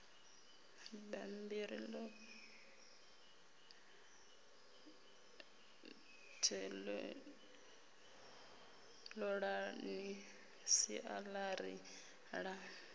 bammbiri ḽoṱhe ṱolani siaṱari ḽa